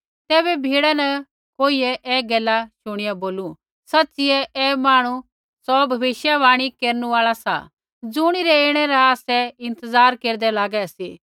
तैबै भिड़ा न कोईकोइयै ऐ गैला शुणिया बोलू सच़िऐ ऐ मांहणु सौ भविष्यवाणी केरनु आल़ा सा ज़ुणिरै ऐणै रा आसै इंतज़ार केरदै लागै सी